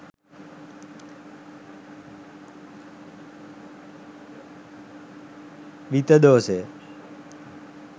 විතදෝසය